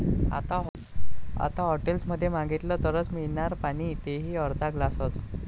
आता हॉटेल्समध्ये मागितलं तरच मिळणार पाणी, ते ही अर्धा ग्लासच!